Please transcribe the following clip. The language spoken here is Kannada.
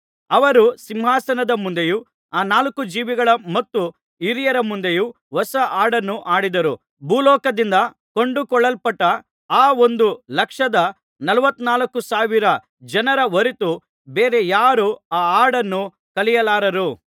ಅವರು ಸಿಂಹಾಸನದ ಮುಂದೆಯೂ ಆ ನಾಲ್ಕು ಜೀವಿಗಳ ಮತ್ತು ಹಿರಿಯರ ಮುಂದೆಯೂ ಹೊಸ ಹಾಡನ್ನು ಹಾಡಿದರು ಭೂಲೋಕದಿಂದ ಕೊಂಡುಕೊಳ್ಳಲ್ಪಟ್ಟ ಆ ಒಂದು ಲಕ್ಷದ ನಲವತ್ತನಾಲ್ಕು ಸಾವಿರ ಜನರ ಹೊರತು ಬೇರೆ ಯಾರೂ ಆ ಹಾಡನ್ನು ಕಲಿಯಲಾರರು